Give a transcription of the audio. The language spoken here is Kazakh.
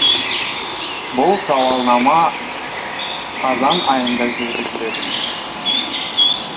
бұл сауалнама қазан айында жүргізіледі